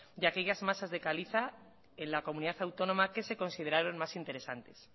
de aquellas masas de caliza en la comunidad autónoma que se consideraron más interesantes